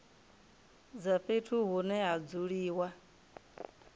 dza fhethu hune ha dzuliwa